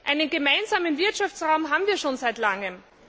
Einen gemeinsamen Wirtschaftsraum haben wir schon seit Langem.